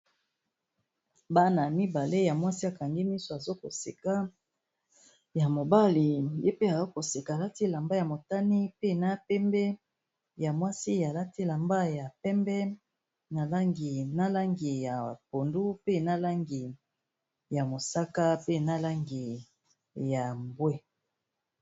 Bana mibale ya mwasi akangi miso aza koseka, ya mobali ye pe aza koseka alati elamba ya motani pe na pembe. Ya mwasi alati elamba ya pembe, na langi ya pondu, pe na langi ya mosakaw pe na langi ya mbwe.